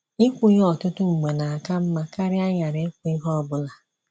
Ị̀kwù ya ọtụtụ mgbe na - aka mma karịa ịghara ikwu ihe ọ bụla.